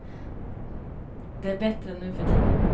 Det är bättre nu för tiden.